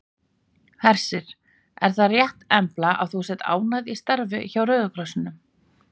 Hersir: Er það rétt Embla ert þú ánægð í starfi hjá Rauða krossinum?